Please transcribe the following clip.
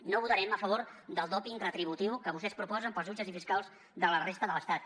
no votarem a favor del doping retributiu que vostès proposen per als jutges i fiscals de la resta de l’estat